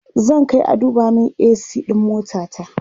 zan Kai a duba min a.c ɗin motata